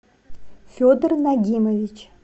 федор нагимович